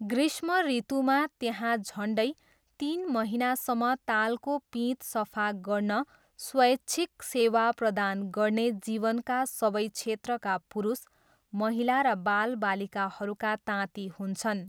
ग्रीष्म ऋतुमा, त्यहाँ झन्डै तिन महिनासम्म तालको पिँध सफा गर्न स्वैच्छिक सेवा प्रदान गर्ने जीवनका सबै क्षेत्रका पुरुष, महिला र बालबालिकाहरूका ताँती हुन्छन्।